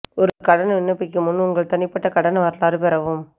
ஒரு கடன் விண்ணப்பிக்கும் முன் உங்கள் தனிப்பட்ட கடன் வரலாறு பெறவும்